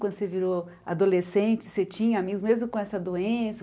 Quando você virou adolescente, você tinha amigos mesmo com essa doença?